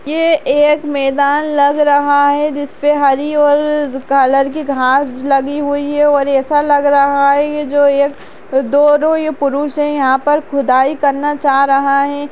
ये एक मैदान लग रहा है जिस पे हरी और कलर की घास लगी हुई है और ऐसा लग रहा है ये जो एक दो-दो पुरुष है यहाँ पर खुदाई करना चाह रहा हैं।